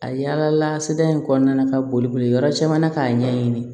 A yaala la sida in kɔnɔna na ka boli boli yɔrɔ caman na k'a ɲɛɲini